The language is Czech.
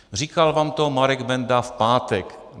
Říkal vám to Marek Benda v pátek.